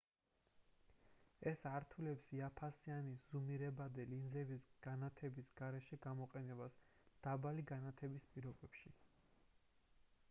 ეს ართულებს იაფფასიანი ზუმირებადი ლინზების განათების გარეშე გამოყენებას დაბალი განათების პირობებში